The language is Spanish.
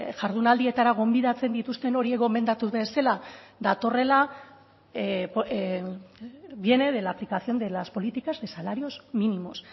jardunaldietara gonbidatzen dituzten horiek gomendatu bezala datorrela viene de la aplicación de las políticas de salarios mínimos